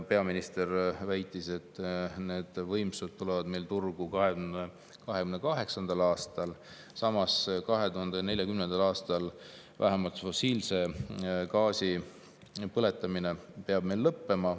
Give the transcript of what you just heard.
Peaminister väitis, et need võimsused tulevad meil turule 2028. aastal, samas 2040. aastal peab meil vähemalt fossiilse gaasi põletamine lõppema.